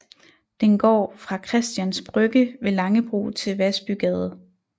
Den går fra Christians Brygge ved Langebro til Vasbygade